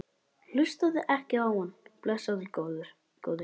Hlustaðu ekki á hann, blessaður góði.